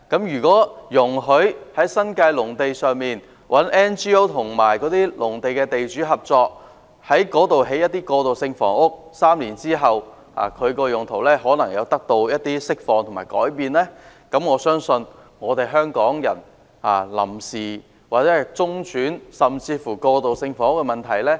如果容許 NGO 與新界農地的地主合作在農地上興建過渡性房屋 ，3 年後其用途或許能釋放和改變，我相信已可解決香港人的臨時、中轉甚至過渡性房屋的問題。